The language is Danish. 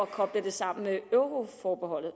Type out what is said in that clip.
kobler det sammen med euroforbeholdet